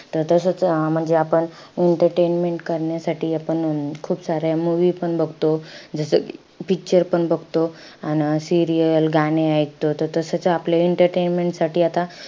त तसचं अं म्हणजे आपण entertainment करण्यासाठी आपण खूप साऱ्या movie पण बघतो. जस कि picture पण बघतो. अन serial, गाणे ऐकतो त तसचं आपलं entertainment साठी आता,